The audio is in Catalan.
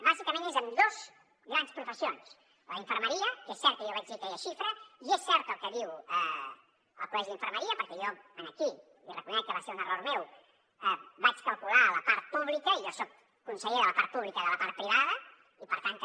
bàsicament és amb dos grans professions la d’infermeria que és cert que jo vaig dir aquella xifra i és cert el que diu el col·legi d’infermeria perquè jo aquí i reconec que va ser un error meu vaig calcular la part pública i jo soc conseller de la part pública i de la part privada i per tant també